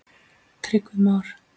Tryggvi Már.